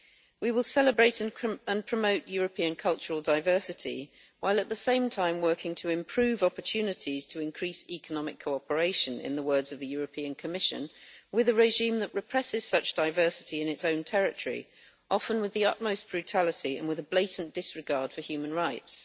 We will celebrate and promote European cultural diversity, while at the same time working to improve opportunities to increase economic cooperation, in the words of the European Commission, with a regime that represses such diversity in its own territory, often with the utmost brutality and with a blatant disregard for human rights.